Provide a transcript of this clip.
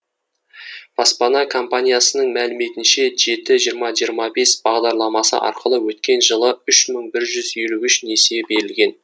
баспана компаниясының мәліметінше жеті жиырма жиырма бес бағдарламасы арқылы өткен жылы үш мың бір жүз елу үш несие берілген